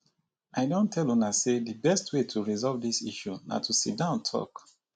i don tell una say the best way to resolve dis issue na to sit down talk